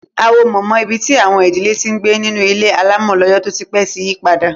Awo mama, ibi tí àwọn ìdílé ti ń gbé nínú ilé alámọ̀ lọ́jọ́ tó ti pẹ́, ti yí padà